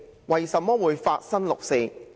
為甚麼會發生六四？